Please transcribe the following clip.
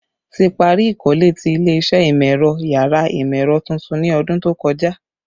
Ti pari ikole ti ile-iṣẹ Imọ-ẹrọ yàrá Imọ-ẹrọ tuntun ni ọdun to kọja